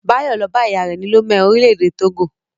Báyọ̀ lọ bá ìyá rẹ̀ ní Lome, orílẹ̀-èdè Togo.